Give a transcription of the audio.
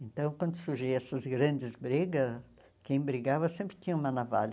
Então, quando surgiam essas grandes brigas, quem brigava sempre tinha uma navalha.